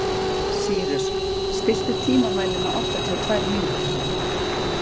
Sýrus, stilltu tímamælinn á áttatíu og tvær mínútur.